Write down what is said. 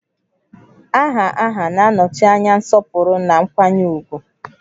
Aha aha na-anọchi anya nsọpụrụ na nkwanye ùgwù